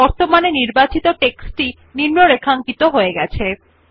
দেখুনবর্তমানে নির্বাচিত টেক্সট নিম্নরেখাঙ্কিত হয়ে গেছে